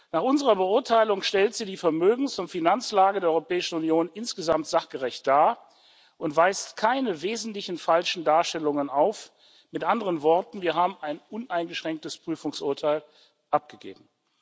Nach unserer Beurteilung stellt sie die Vermögens und Finanzlage der Europäischen Union insgesamt sachgerecht dar und weist keine wesentlichen falschen Darstellungen auf mit anderen Worten, wir haben ein uneingeschränktes Prüfungsurteil abgegeben.